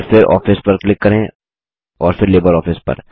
और फिर आफिस पर क्लिक करें और फिर लिब्रियोफिस पर